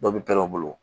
Dɔ bi kɛlɛ o bolo